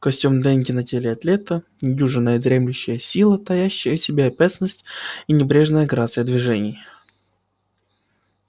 костюм денди на теле атлета недюжинная дремлющая сила таящая в себе опасность и небрежная грация движений